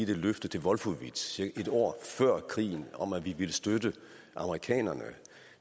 det løfte til wolfowitz cirka et år før krigen om at vi ville støtte amerikanerne